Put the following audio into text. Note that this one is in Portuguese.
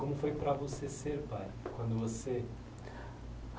Como foi para você ser pai? Quando você